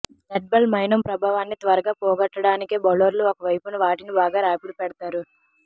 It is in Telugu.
రెడ్బాల్ మైనం ప్రభావాన్ని త్వరగా పోగొట్టడానికే బౌలర్లు ఒకవైపున వాటిని బాగా రాపిడి పెడతారు